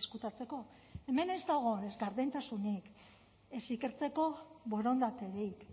ezkutatzeko hemen ez dago ez gardentasunik ez ikertzeko borondaterik